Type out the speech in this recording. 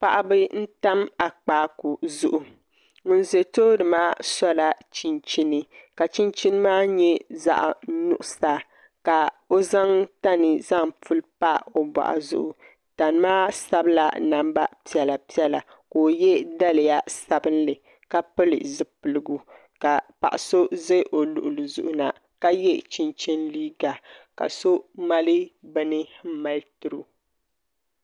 Paɣaba n tam akpaaku zuɣu ŋun bɛ tooni maa sola chinchini ka chinchin maa nyɛ zaɣ nuɣso ka o zaŋ tani zaŋ puli pa o boɣu zuɣu tani maa sabila namba piɛla piɛla ka o yɛ daliya sabinli ka pili zipiligu ka paɣa so ʒɛ o luɣuli ni na ka yɛ chinchin liiga ka so mali bini n mali tiro